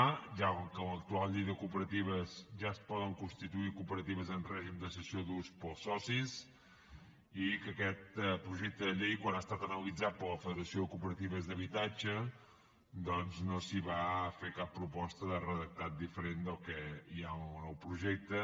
a ja que amb l’actual llei de cooperatives ja es poden constituir cooperatives en règim de cessió d’ús pels socis i que a aquest projecte de llei quan ha estat analitzat per la federació de cooperatives d’habitatges doncs no s’hi va fer cap proposta de redactat diferent del que hi ha en el projecte